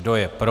Kdo je pro?